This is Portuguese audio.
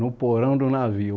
No porão do navio?